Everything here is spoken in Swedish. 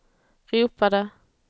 ropade